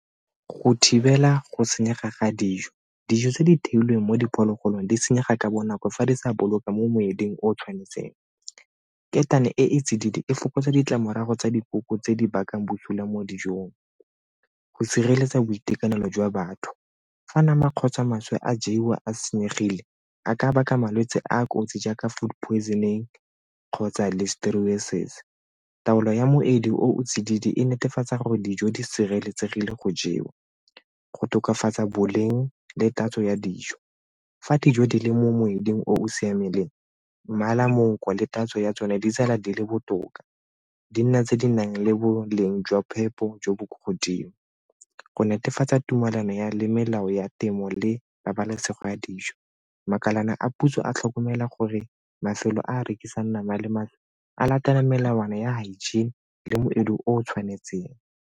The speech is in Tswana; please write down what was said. Go thibela go senyega ga dijo, dijo tse di theilweng mo diphologolong di senyega ka bonako fa di sa boloka mo motsweding o tshwanetseng. Ketane e e tsididi e fokotsa ditlamorago tsa dikoko tse di bakang busula mo dijong. Go sireletsa boitekanelo jwa batho, fa nama kgotsa maswe a jewa a senyegile a ka baka malwetse a a kotsi jaaka food poisoning kgotsa Listeriosis. Taolo ya moedi o o tsididi e netefatsa gore dijo di sireletsegile go jewa go tokafatsa boleng le tatso ya dijo. Fa dijo di le mo moeding o o siameng mmala le tatso ya tsone di tsela di le botoka di nna tse di nang le boleng jwa phepo jo bo kwa godimo. Go netefatsa tumelano ya melao ya temo le pabalesego ya dijo makalana a puso a tlhokomela gore mafelo a a rekisang nama le maatla a latela melawana ya hygiene le moedi o o tshwanetseng.